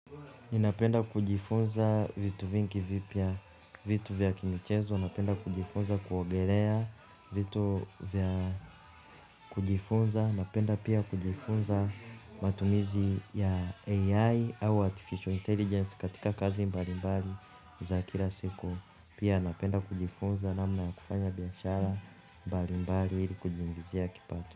Ninapenda kujifunza vitu vingi vipya vitu vya kimichezo, napenda kujifunza kuogelea vitu vya kujifunza napenda kujifunza matumizi ya ai au artificial intelligence katika kazi mbali mbali za kila siku pia napenda kujifunza namna ya kufanya biashara mbali mbali kujiingizia kipato.